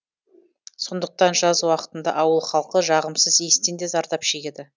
сондықтан жаз уақытында ауыл халқы жағымсыз иістен де зардап шегеді